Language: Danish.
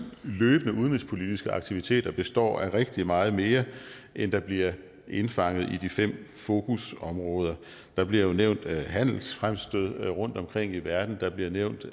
løbende udenrigspolitiske aktiviteter består af rigtig meget mere end der bliver indfanget i de fem fokusområder der bliver nævnt handelsfremstød rundtomkring i verden der bliver nævnt